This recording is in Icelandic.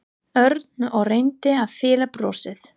Örn og reyndi að fela brosið.